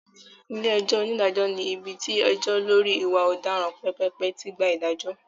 Ilé-ẹjọ́ onídàájọ́ ní ibi tí ẹjọ́ lọ́rí ìwà ọ̀daràn pépèpé tí gba ìdájọ́.